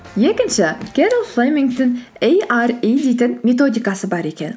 екінші кэрол флеймингтің эйари дейтін методикасы бар екен